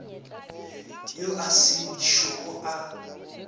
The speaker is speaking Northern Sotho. yo a se šogo a